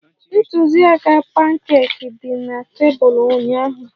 Ntụziaka pankeeki dị na tebụl ụnyaahụ